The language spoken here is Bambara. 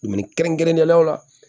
Minni kɛrɛnkɛrɛnnenya la